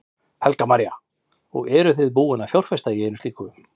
Helga María: Og eruð þið búin að fjárfesta í einu slíku?